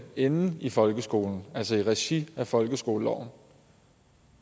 inde i folkeskolen altså i regi af folkeskoleloven